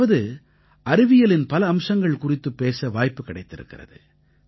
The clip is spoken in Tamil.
அதாவது அறிவியலின் பல அம்சங்கள் குறித்துப் பேச வாய்ப்பு கிடைத்திருக்கிறது